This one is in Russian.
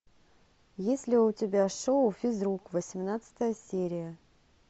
есть ли у тебя шоу физрук восемнадцатая серия